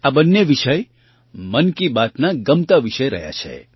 આ બંને વિષય મન કી બાતના ગમતા વિષય રહ્યા છે